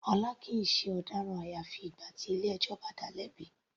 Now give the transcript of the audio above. Ọlá kìí ṣe ọ̀daràn àyàfi ìgbà tí ilé ẹjọ́ bá dáa lẹ́bi.